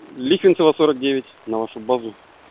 лихвинцева сорок девять на вашу базу